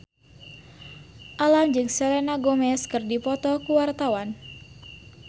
Alam jeung Selena Gomez keur dipoto ku wartawan